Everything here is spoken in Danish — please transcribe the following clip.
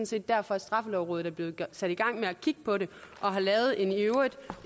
set derfor at straffelovrådet er blevet sat i gang med at kigge på det og har lavet en i øvrigt